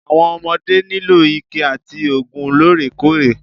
Àwọn ọmodé nílò ìkẹ́ àti oògùn lóòrèkóòrè.